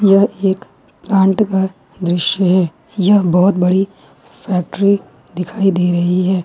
एक प्लांट का दृश्य है यह बहुत बड़ी फैक्ट्री दिखाई दे रही है।